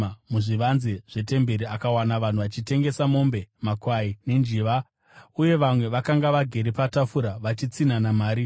Muzvivanze zvetemberi akawana vanhu vachitengesa mombe, makwai nenjiva, uye vamwe vakanga vagere patafura vachitsinhana mari.